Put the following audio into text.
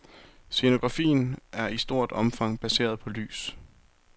Scenografien er i stort omfang baseret på lys.